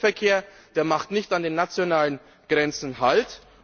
Der Güterverkehr macht nicht an den nationalen Grenzen Halt.